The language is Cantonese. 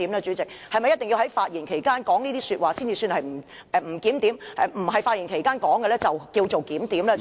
主席，是否一定要在其發言期間作此言論才算作不檢點，在非其發言期間便算作檢點呢？